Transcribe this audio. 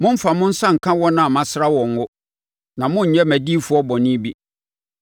“Mommfa mo nsa nka wɔn a masra wɔn ngo; na monnyɛ mʼadiyifoɔ bɔne bi.”